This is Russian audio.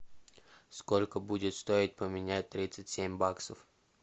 сколько будет стоить поменять тридцать семь баксов